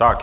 Tak.